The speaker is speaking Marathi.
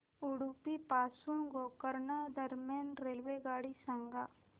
उडुपी पासून गोकर्ण दरम्यान रेल्वेगाडी सांगा